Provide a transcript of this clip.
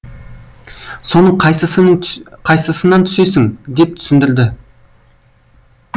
соның қайсысын соның қайсысынан түсесің деп түсіндірді